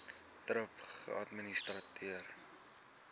thrip geadministreer